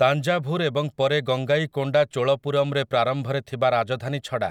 ତାଞ୍ଜାଭୁର୍ ଏବଂ ପରେ ଗଙ୍ଗାଇକୋଣ୍ଡା ଚୋଳପୁରମରେ ପ୍ରାରମ୍ଭରେ ଥିବା ରାଜଧାନୀ ଛଡ଼ା,